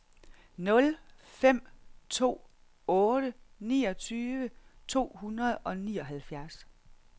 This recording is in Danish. nul fem to otte niogtyve to hundrede og nioghalvfjerds